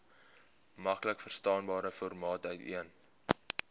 maklikverstaanbare formaat uiteen